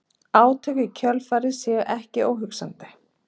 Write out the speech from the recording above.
Átök í kjölfarið séu ekki óhugsandi